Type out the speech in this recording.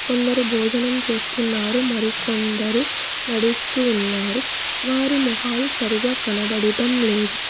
కొందరు భోజనం చేస్తున్నారు మరి కొందరు నడుస్తూ ఉన్నారు వారి మొహాలు సరిగా కనబడుటం లేదు.